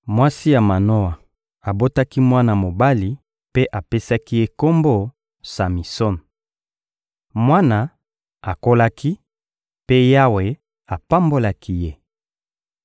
Mwasi ya Manoa abotaki mwana mobali mpe apesaki ye kombo «Samison.» Mwana akolaki, mpe Yawe apambolaki ye.